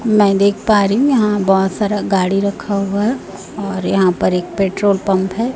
मैं देख पा रहीं हूॅं यहाॅं बहोत सारा गाड़ी रखा हुआ है। और यहाॅं पर एक पेट्रोल पंप है।